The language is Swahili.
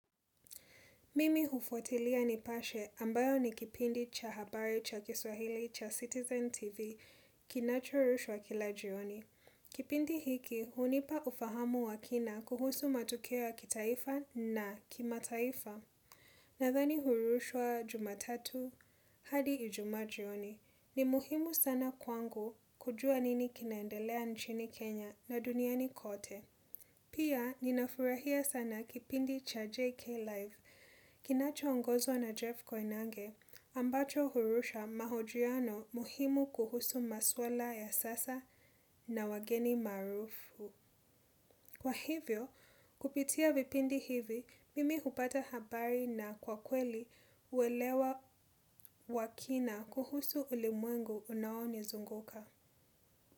Mimi hufuatilia nipashe ambayo ni kipindi cha habari, cha kiswahili, cha Citizen TV, kinachorushwa kila jioni. Kipindi hiki, hunipa ufahamu wa kina kuhusu matokeo ya kitaifa na kimataifa. Nadhani hurushwa jumatatu, hadi ijumaa jioni. Ni muhimu sana kwangu kujua nini kinaendelea nchini Kenya na duniani kote. Pia, ninafurahia sana kipindi cha JK Live. Kinachoongozwa na Jeff Koynange, ambacho hurusha mahojiano muhimu kuhusu maswala ya sasa na wageni maarufu. Kwa hivyo, kupitia vipindi hivi, mimi hupata habari na kwa kweli uelewa wa kina kuhusu ulimwengu unaonizunguka.